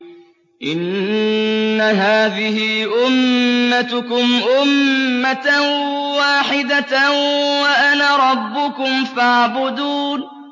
إِنَّ هَٰذِهِ أُمَّتُكُمْ أُمَّةً وَاحِدَةً وَأَنَا رَبُّكُمْ فَاعْبُدُونِ